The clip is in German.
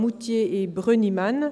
Moutier et Brönnimann.